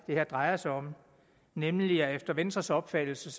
det her drejer sig om nemlig at efter venstres opfattelse